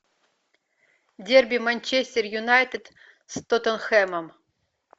дерби манчестер юнайтед с тоттенхэмом